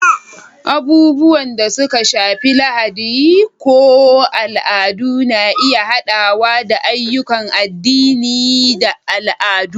Abubuwan da suka shafi Lahadi ko al'adu na iya haɗawa da ayyukan addini da al'adu.